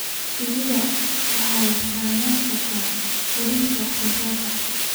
Shinnidu waxay saameyn kartaa heerarka wax soo saarka.